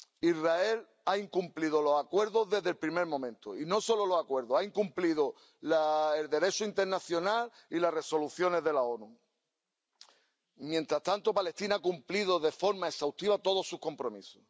Israel ha incumplido los Acuerdos desde el primer momento, y no solo los Acuerdos ha incumplido el Derecho internacional y las Resoluciones de la ONU. Mientras tanto, Palestina ha cumplido de forma exhaustiva todos sus compromisos.